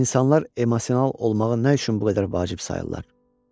İnsanlar emosional olmağı nə üçün bu qədər vacib sayırlar?